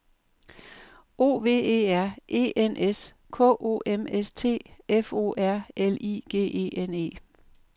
O V E R E N S K O M S T F O R L I G E N E